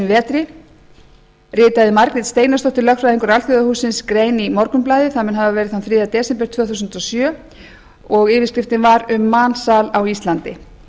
vetri ritaði margrét steinarsdóttir lögfræðingur alþjóðahússins grein í morgunblaðið það mun hafa verið þann þriðja desember tvö þúsund og sjö og yfirskriftin var um mansal á íslandi